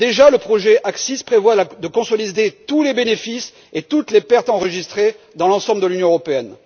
Le projet AXIS prévoit déjà de consolider tous les bénéfices et pertes enregistrés dans l'ensemble de l'Union européenne.